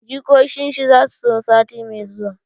Jikokin shi zasu zo sati mai zuwa